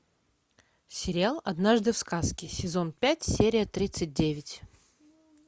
сериал однажды в сказке сезон пять серия тридцать девять